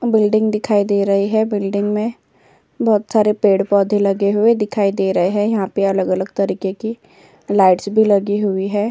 Building दिखाई दे रही है। बिल्डिंग में बहोत सारे पेड़-पौधे लगे हुए दिखाई दे रहे हैं। यहां पे अलग-अलग तरीके की लाइट्स भी लगी हुई है।